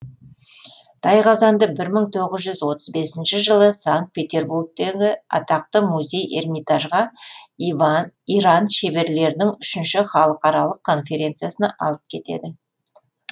тайқазанды бір мың тоғыз жүз отыз бесінші жылы санкт петербургтегі атақты музей эрмитажға иран шеберлерінің үшінші халқаралық конференциясына алып кетеді